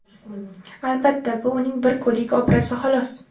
Albatta, bu uning bir kunlik obrazi xolos.